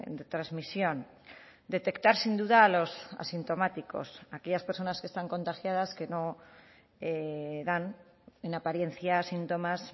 de transmisión detectar sin duda a los asintomáticos aquellas personas que están contagiadas que no dan en apariencia síntomas